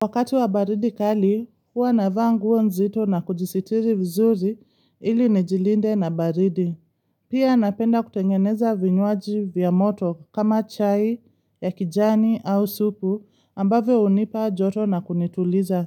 Wakati wa baridi kali, hua navaa nguo nzito na kujisitiri vizuri ili nijilinde na baridi. Pia napenda kutengeneza vinywaji vya moto kama chai, ya kijani au supu ambavyo hunipa joto na kunituliza.